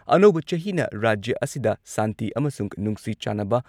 ꯑꯅꯧꯕ ꯆꯍꯤꯅ ꯔꯥꯖ꯭ꯌ ꯑꯁꯤꯗ ꯁꯥꯟꯇꯤ ꯑꯃꯁꯨꯡ ꯅꯨꯡꯁꯤ ꯆꯥꯟꯅꯕ